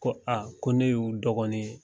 Ko a ko ne y'u dɔgɔnin ye.